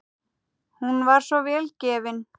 Hún var svo vel gefin.